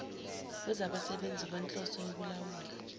wezabasebenzi ngokwenhloso yokulawulwa